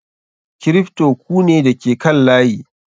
Kripto ku ne da ke kan layi.